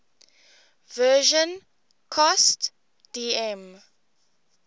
version cost dm